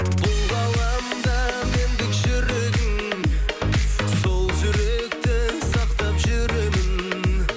бұл ғаламда мендік жүрегің сол жүректі сақтап жүремін